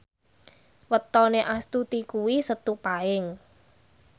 wetone Astuti kuwi Setu Paing